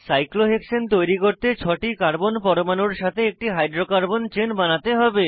cyclohexane তৈরি করতে ছটি কার্বন পরমাণুর সাথে একটি হাইড্রোকার্বন চেন বানাতে হবে